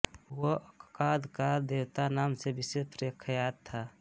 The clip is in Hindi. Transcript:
वह अक्काद का देवता नाम से विशेष प्रख्यात था